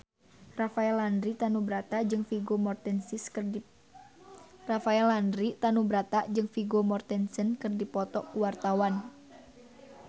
Rafael Landry Tanubrata jeung Vigo Mortensen keur dipoto ku wartawan